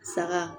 Saga